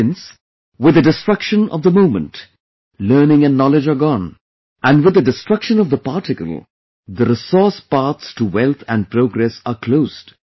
Since, with the destruction of the moment, learning and knowledge are gone, and with the destruction of the particle, the resource, paths to wealth and progress are closed